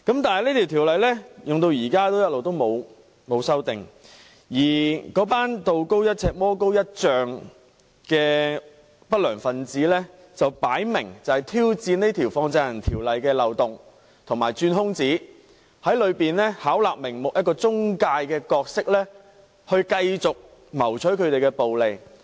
但是，《條例》落實至今一直沒有作出修訂，而那群道高一尺、魔高一丈的不良分子明顯在挑戰《條例》的漏洞及鑽空子，從中巧立名目，以中介的角色繼續謀取暴利。